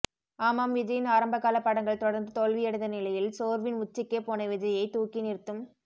ஆமாம் விஜயின் ஆரம்பகால படங்கள் தொடர்ந்து தோல்வியடைந்த நிலையில் சோர்வின் உச்சிக்கே போன விஜயை தூக்கி நிறுத்தும்